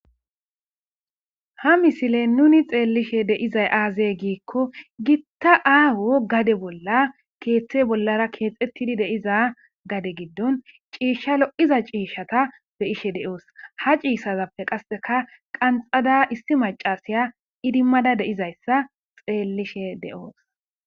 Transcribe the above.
Ha misile nuni xeellishe deizay aazey giikko gitta aaho gade bolla keethte bollara keexettidi deiza gade giddon ciishsha lo7iza ciishshata be ishe deoos ha ciissazappe qasseka qanxada issi macasiya idimmada deizayssa xeellishe de7oos